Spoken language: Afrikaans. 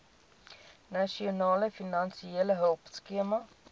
nasionale finansiële hulpskema